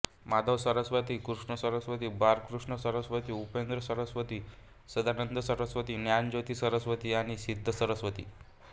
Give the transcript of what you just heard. माधवसरस्वती कृष्ण सरस्वती बाळकृष्ण सरस्वती उपेंद्र सरस्वती सदानंद सरस्वती ज्ञानज्योती सरस्वती आणि सिद्ध सरस्वती